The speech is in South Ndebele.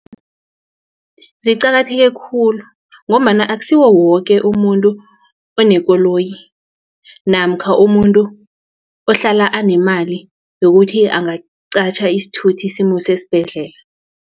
Ziqakatheke khulu ngombana akusiwo woke umuntu onekoloyi namkha umuntu ohlala anemali yokuthi angaqatjha isithuthi simuse esibhedlela.